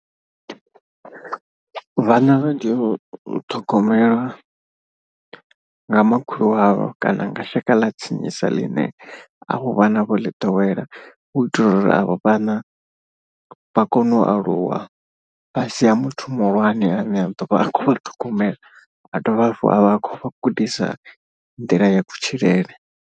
Vhana vha teo u ṱhogomelwa nga makhulu avho kana nga shaka ḽa tsinisa ḽine avho vhana vho ḽi ḓowela. U itela uri avho vhana vha kone u aluwa fhasi ha muthu muhulwane ane a ḓovha a khou vha ṱhogomela a dovhe hafhu a vha a khou vha gudisa nḓila ya kutshilele.